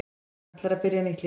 Hann ætlar að byrja nýtt líf.